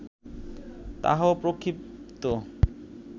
তাহাও প্রক্ষিপ্ত